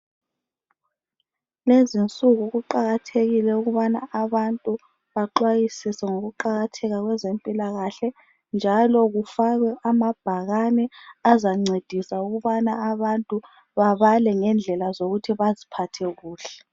Lezinsuku kuqakathekile ukubana abantu baxwayisise ngokuqakatheka kezempilakahle, njalo kufakwe amabhakane azancedisa ukubana abantu babale ngendlela zokuthi baziphathe kuhle.